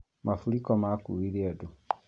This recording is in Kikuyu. Maburĩko makuire andũ